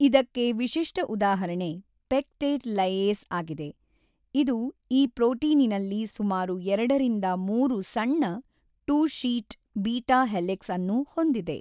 ಇದಕ್ಕೆ ವಿಶಿಷ್ಟ ಉದಾಹರಣೆ ಪೆಕ್ಟೇಟ್ ಲೈಏಸ್ ಆಗಿದೆ ಇದು ಈ ಪ್ರೋಟೀನಿನಲ್ಲಿ ಸುಮಾರು ಎರಡರಿಂದ ಮೂರು ಸಣ್ಣ ಟೂ ಶೀಟ್ ಬೀಟಾ ಹೆಲಿಕ್ಸ್ ಅನ್ನು ಹೊಂದಿದೆ.